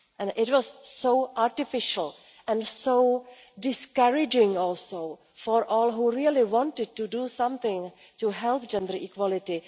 It was so artificial and so discouraging for all those who really wanted to do something to help gender equality.